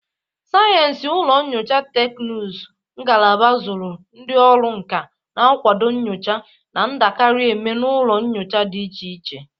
Sayensị ụlọ nyocha teknụzụ ngalaba zụrụ ndị ọrụ nka na-akwado nnyocha na-adakarị eme n'ụlọ nyocha dị iche iche.